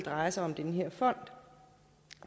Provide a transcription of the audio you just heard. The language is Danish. drejer sig om den her fond